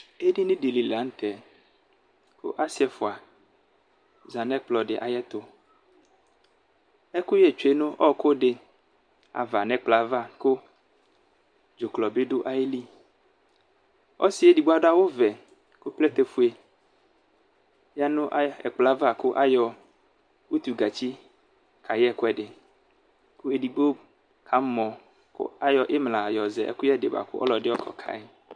edinidili la nʋtɛ kʋ asiɛƒʋa zanʋ ɛkplɔɛdi ayʋɛtʋ ɛkʋyɛ tsʋe nʋ ɔkʋdi nʋ ɛkplɔava kʋ dzʋklɔbi dʋ ayili ɔsiɛ edigbo adʋ awʋvɛ kʋ plɛtɛƒʋe ya nʋ ɛkplɔɛva kʋ ayɔ ʋtʋlee kayɛ ɛkʋɛdi kʋ edigbo kamɔ kʋ ayɔ imla yɔzɛ ɛkʋɛdi kʋ ɔlʋɛdi ayɔ ka kayi